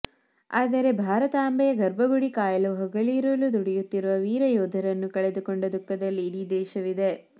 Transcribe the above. ಆದರೆ ಭಾರತಾಂಭೆಯ ಗರ್ಭಗುಡಿ ಕಾಯಲು ಹಗಲಿರುಳು ದುಡಿಯುತ್ತಿರುವ ವೀರ ಯೋಧರನ್ನು ಕಳೆದುಕೊಂಡ ದುಃಖದಲ್ಲಿ ಇಡೀ ದೇಶವಿದೆ